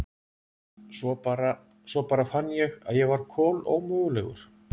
Svo bara. svo bara fann ég að ég var kolómögulegur.